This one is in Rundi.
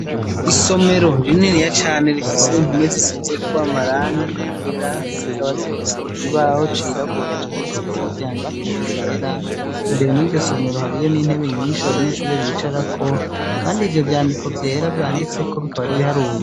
Isomero rininiya cane rifise impome zisizeko amarangi yera, zikaba zifise ikibaho cirabura canditseko n'ivyandiko vyera, imbere muri iryo somero hariyo n'intebe nyinshi abanyeshure bicarako, kandi ivyo vyandiko vyera vyanditseko bikaba ari ibiharuro.